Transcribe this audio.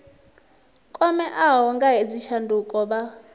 kwameaho nga hedzi tshanduko vha